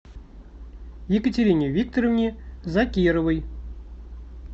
екатерине викторовне закировой